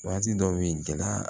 Waati dɔw be ye gɛlɛya